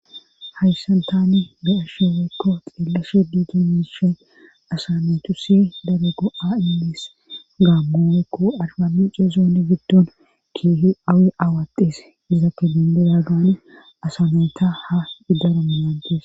Hayssan tani be7ashe woykko xeellashe dizay miishey asaa naatussi daro gou7a immees gaammo woykko arbamincce zoone giddon keehi awi awattees asa nayta daro naagees.